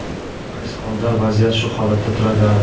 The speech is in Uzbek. Aks holda vaziyat shu holatda turaveradi.